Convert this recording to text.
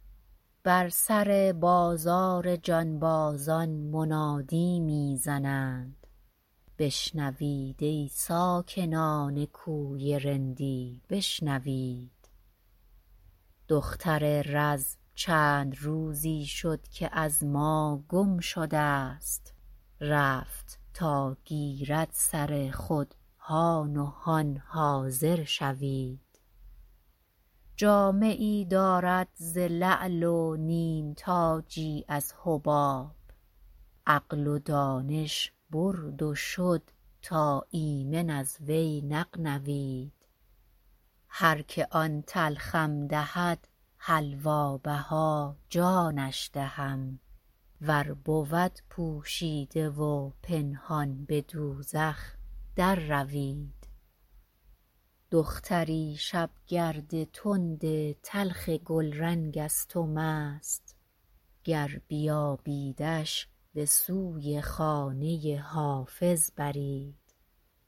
بر سر بازار جانبازان منادی می زنند بشنوید ای ساکنان کوی رندی بشنوید دختر رز چند روزی شد که از ما گم شده ست رفت تا گیرد سر خود هان و هان حاضر شوید جامه ای دارد ز لعل و نیمتاجی از حباب عقل و دانش برد و شد تا ایمن از وی نغنوید هر که آن تلخم دهد حلوا بها جانش دهم ور بود پوشیده و پنهان به دوزخ در روید دختری شبگرد تند تلخ گلرنگ است و مست گر بیابیدش به سوی خانه حافظ برید